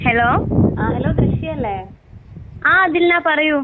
Hello ആഹ് ദിൽനാ പറയൂ.